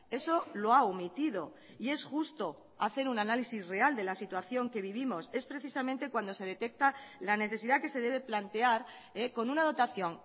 eso lo ha omitido y es justo hacer un análisis real de la situación que vivimos es precisamente cuando se detecta la necesidad que se debe plantear con una dotación